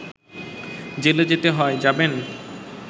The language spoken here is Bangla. জেলে যেতে হয়, যাবেন